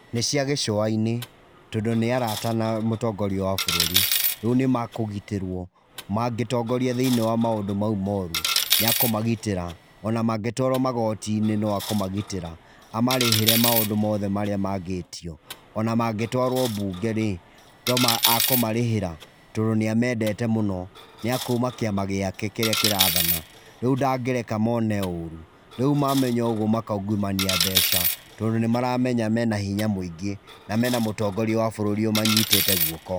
Nĩ cia gĩcũa-inĩ. Tondũ nĩ araata na mũtongoria wa bũrũri. Rĩu nĩ makũgitĩrwo, mangĩtongoria thĩiniĩ wa maũndũ mau moru nĩ akũmagitĩra. Ona mangĩtwarwo magoti-inĩ no akũmagitĩra. Amarĩhĩre maũndũ mothe marĩa mangĩtio. Ona mangĩtwarwo mbunge rĩ, to akũmarĩhĩra, tondũ nĩ amendete mũno. Nĩ a kuuma kĩama gĩake kĩrĩa kĩrathana, rĩu ndangĩreka mone ũrũ. Rĩu mamenya ũguo makaungumania mbeca tondũ nĩ maramenya mena hinya mũingĩ, na mena mũtongoria wa bũrũri ũmanyitĩte guoko.